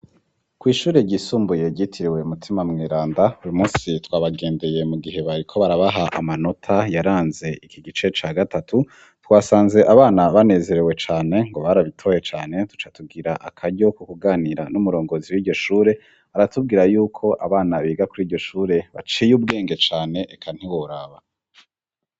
Kw'ishure ryisumbuye gitiriwe umutima mw'iranda rimusi twabagendeye mu gihe baye ko barabaha amanota yaranze iki gice ca gatatu twasanze abana banezerewe cane ngo barabitoye cane tuca tugira akaryo ku kuganira n'umurongozi w'iryo shure aratubwira yuko abana biga kuri iryo shure baciye ubwenge cane ane eka ntigoraba.